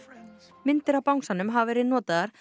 myndir af bangsanum hafa verið notaðar